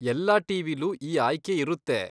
ಎಲ್ಲಾ ಟಿ.ವಿ.ಲೂ ಈ ಆಯ್ಕೆ ಇರುತ್ತೆ.